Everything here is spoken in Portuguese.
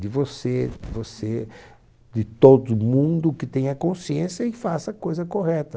De você, de você, de todo mundo que tenha consciência e faça a coisa correta.